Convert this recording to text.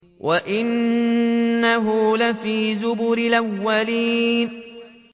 وَإِنَّهُ لَفِي زُبُرِ الْأَوَّلِينَ